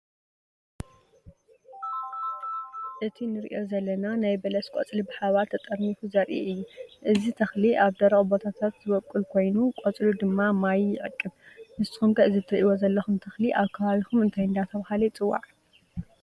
እቲ እንርእዮ ዘለና ናይ በለስ ቆጽሊ ብሓባር ተጠርኒፉ ዘርኢ እዩ። እዚ ተኽሊ ኣብ ደረቕ ቦታታት ዝበቁል ኮይኑ ቆጽሉ ድማ ማይ ይዕቅብ። ንስኩም ከ እዚ እትርእይዎ ዘለኩም ተክሊ ኣብ ከባቢኩም እንታይ እንዳተባሃለ ይፅዋዕ?